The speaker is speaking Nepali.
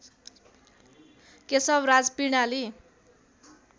केशवराज पिँडाली